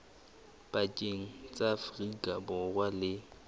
pakeng tsa afrika borwa le